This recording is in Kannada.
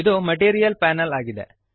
ಇದು ಮೆಟೀರಿಯಲ್ ಪ್ಯಾನಲ್ ಆಗಿದೆ